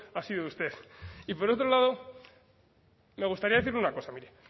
ha sido usted y por otro lado me gustaría decirle una cosa mire